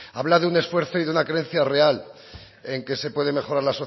habla de un esfuerzo y de una creencia real en que se puede mejorar